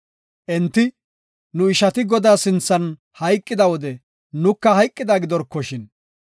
Enti, “Nu ishati Godaa sinthan hayqida wode nuka hayqida gidorkoshin.